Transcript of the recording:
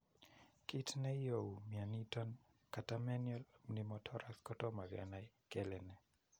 Kit ne iou mioniton Catamenial pneumothorax kotomo kenai kele ne.